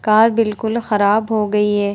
Car बिल्कुल खराब हो गयी है ।